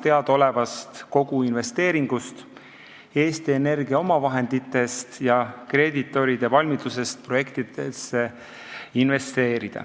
teada olevast koguinvesteeringust, Eesti Energia omavahenditest ja kreeditoride valmidusest projektidesse investeerida.